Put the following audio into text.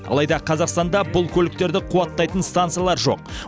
алайда қазақстанда бұл көліктерді қуаттайтын станциялар жоқ